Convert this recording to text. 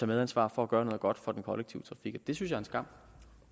medansvar for at gøre noget godt for den kollektive trafik og det synes jeg er en skam